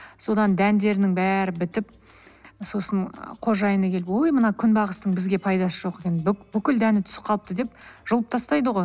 содан дәндерінің бәрі бітіп сосын қожайыны келіп ой мына күнбағыстың бізге пайдасы жоқ екен бүкіл дәні түсіп қалыпты деп жұлып тастайды ғой